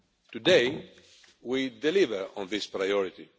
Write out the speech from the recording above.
Today we deliver on this priority.